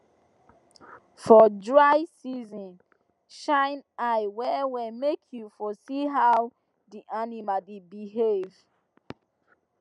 for dry season shine eye well well make you for see how the animals dey behave